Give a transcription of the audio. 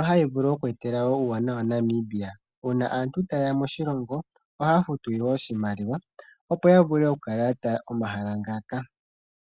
Ohadhi vulu oku etela Namibia uuwanawa UUna aantu taye ya moshilongo ohaya futu oshimaliwa opo ya vule oku kala ya talelapo omahala ngaka.